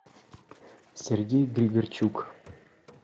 сергей григорчук